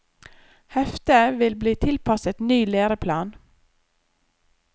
Heftet vil bli tilpasset ny læreplan.